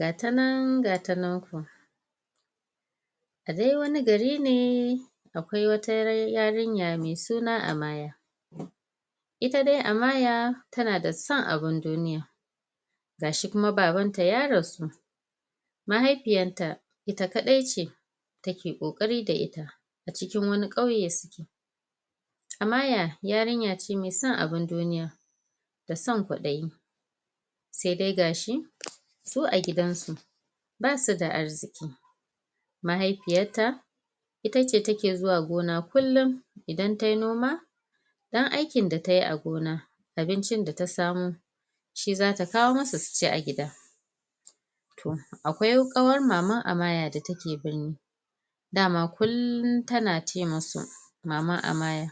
Gata nan gata nan ku A dai wani gari ne akwai wata yarinya mai suna Amaya ita dai Amaya tana da son abun duniya gashi kuma babanta ya rasu mahaifiyarta ita kaɗai ce take ƙoƙari da ita a cikin wani ƙauye suke Amaya ayarinya ce mai son abun duniya da son kwaɗayi sai dai gashi su a gidansu basu da arziki mahaifiyarta ita ce take zuwa gona kullum idan tayi noma ɗan aikin da tayi a gona abincin da ta samo shi zata kawo musu su ci a gida akwai ƙawar maman Amaya da take birni dama kullum tana ce musu maman Amaya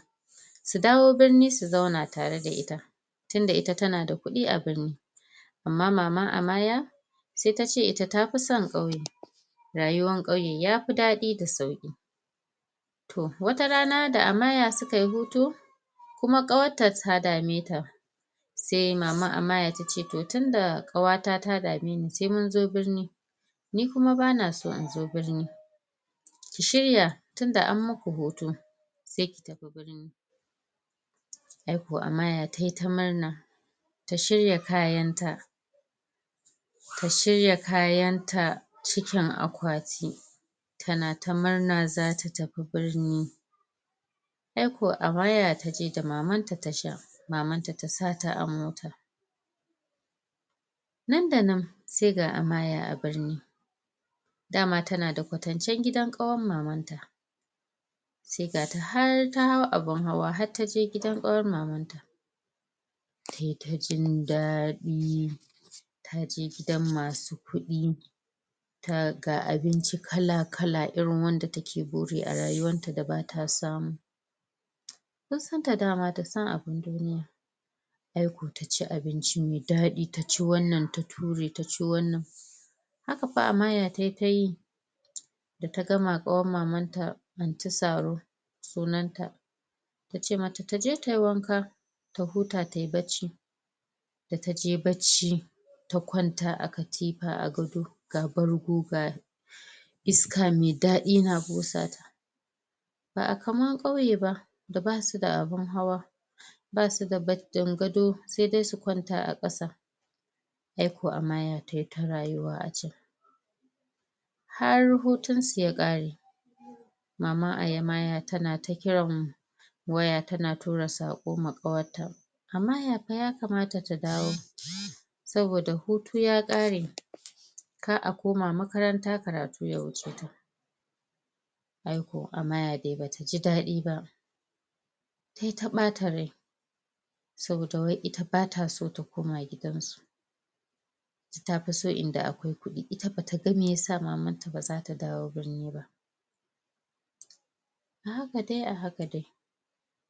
su dawo birni su zauna tare da ita tuda ita tana da kuɗi a birni amma maman Amaya sai tace ita ta fi son ƙauye rayuwan ƙayue ya fi daɗi da sauƙi to wata rana da Amaya suka yi hutu kuma ƙawarta ta dame ta sai maman Amaya tace to tunda ƙawata ta dame ni sai munzo birni ni kuma bana so in zo birni ki shirya tunda an muku hutu sai ki tafi birni ai ko Amaya tayi ta murna ta shirya kayan ta ta shirya kayanta cikin akwati tana ta murna zata tafi birni ai ko Amaya taje da mamanta tasha mamanta ta sa ta a mota nan da nan sai ga Amaya a birni dama tana da kwatancen gidan ƙawar mamanta sai ga ta har ta hau abun hawa har taje gidan ƙawar mamanta tayi ta jin daɗi taje gidan masu kuɗi ga abinci kala kala irin wanda take buri a rayuwanta da bata samu kun san ta dama da son abun duniya ai ko taci abinci mai daɗi taci wannan ta ture ta ci wannan haka fa Amaya tayi ta yi da ta gama ƙawar mamanta Aunty Saro sunan ta tace mata taje tayi wanka ta huta tayi bacci da ta je bacci ta kwanta a katifa a gado ga bargo go iska mai daɗi wana busa ta ba kaman ƙauye ba da basu da abun hawa basu da gado sai dai su kwanta a ƙasa ai ko Amaya tayi ta rayuwa a can har hutun su ya ƙare maman Amaya tana ta kiran waya tana tura saƙo ma ƙawarta Amaya fa ya kamata ta dawo saboda hutu ya ƙare kar a koma makaranta karatu ya wuce ta ai ko Amaya dai bata ji daɗi ba tayi ta ɓata rai saboda wai ita bata so ta koma gidan su ita tafi so inda akwai kuɗi ita bata ga meyasa mamanta baza ta dawo birni ba a haka dai a haka dai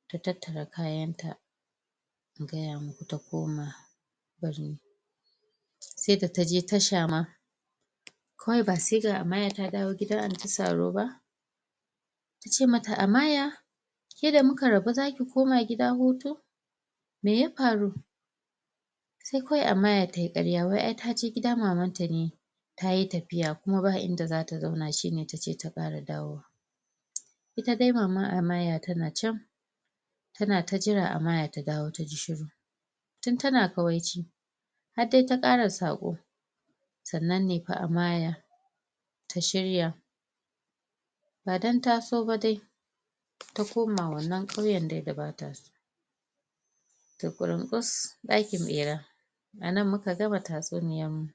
ta tattara kayan ta in gaya muku ta koma? sai da taje tasha ma kawai ba sai ga Amaya ta dawo gidan Aunty Saro ba tace mata: "Amaya" ke da muka rabu zaki koma gida hutu me ya faru sai kawai Amaya tayi ƙarya wai ai taje gida mamanta ne tayi tafiya kuma ba inda zata zauna shine tace ta ƙara dawowa ita dai maman Amaya tana can tana ta jira Amaya ta dawo taji shiru tun tana kawaici har dai ta ƙara saƙo sannan ne fa Amaya ta shirya ba don ta so ba dai ta koma wannan ƙauyen dai da bata so Ta ƙurun ƙus ɗakin ɓera a nan muka gama tatsuniyan mu.